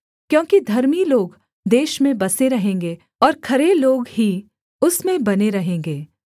क्योंकि धर्मी लोग देश में बसे रहेंगे और खरे लोग ही उसमें बने रहेंगे